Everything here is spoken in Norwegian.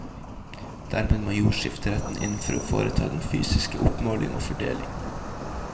Dermed må jordskifteretten inn for å foreta den fysiske oppmåling og fordeling.